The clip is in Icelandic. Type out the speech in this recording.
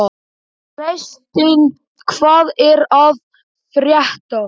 Freysteinn, hvað er að frétta?